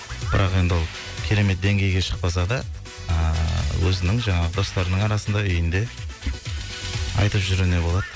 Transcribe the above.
бірақ енді ол керемет деңгейге шықпаса да ыыы өзінің жаңағы достарының арасында үйінде айтып жүруіне болады